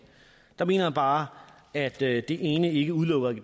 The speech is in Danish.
der mener jeg bare at det ene ikke udelukker